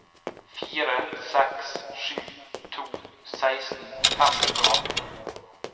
fire seks sju to seksten fem hundre og atten